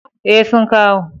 E, sun kawo.